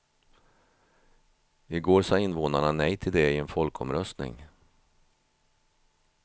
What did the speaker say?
I går sa invånarna nej till det i en folkomröstning.